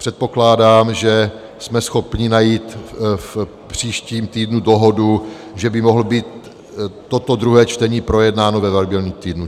Předpokládám, že jsme schopni najít v příštím týdnu dohodu, že by mohlo být toto druhé čtení projednáno ve variabilním týdnu.